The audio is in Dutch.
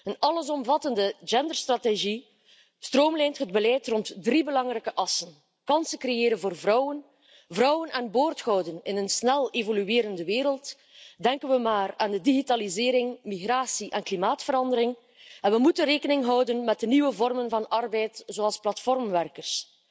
Een allesomvattende genderstrategie stroomlijnt het beleid rond drie belangrijke assen kansen creëren voor vrouwen, vrouwen aan boord houden in een snel evoluerende wereld denken we hierbij aan de digitalisering, migratie en klimaatverandering, en we moeten bovendien rekening houden met de nieuwe vormen van arbeid zoals platformwerkers.